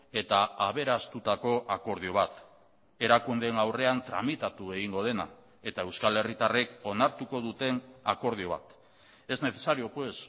eta aberastutako akordio bat erakundeen aurrean tramitatu egingo dena eta euskal herritarrek onartuko duten akordio bat es necesario pues